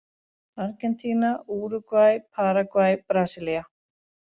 Argentína, Úrúgvæ, Paragvæ, Brasilía.